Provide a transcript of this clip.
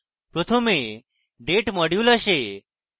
প্রথমে date module আসে